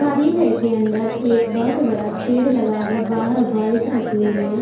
कारीले के अंदर एक बोहोत बड़ा पेड़ लगा है वाहर बाइक रखी हुई है।